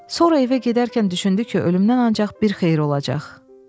Sonra evə gedərkən düşündü ki, ölümündən ancaq bir xeyir olacaq.